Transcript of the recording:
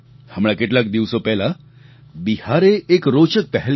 હમણાં કેટલાક દિવસો પહેલાં બિહારે એક રોચક પહેલ કરી